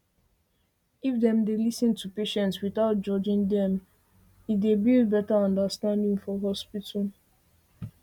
if dem dey lis ten to patients without judging them e judging them e dey build better understanding for hospital